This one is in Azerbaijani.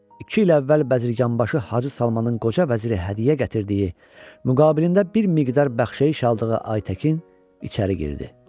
İki il əvvəl Bəzirqanbaşı Hacı Salmanın qoca vəziri hədiyyə gətirdiyi, müqabilində bir miqdar bəxşəyiş aldığı Aytəkin içəri girdi.